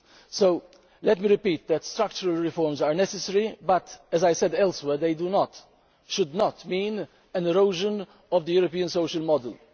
So let me repeat that structural reforms are necessary but, as I said elsewhere, they should not mean an erosion of the European social model.